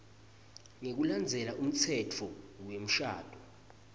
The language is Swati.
ngekulandzela umtsetfo wemshado